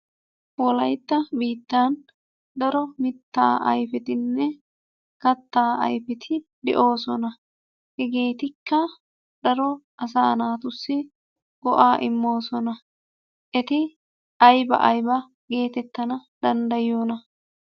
Wolaytta biittan daro mittaa ayfetinne kattaa ayfeti de'oosona. Hegeetikka daro asaa naatussi go'aa immoosona. Eti ayba ayba geetettana danddayiyonaa?